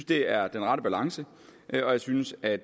det er den rette balance og jeg synes at